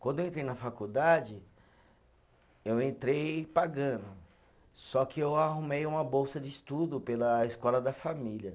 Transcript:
Quando eu entrei na faculdade, eu entrei pagando, só que eu arrumei uma bolsa de estudo pela escola da família.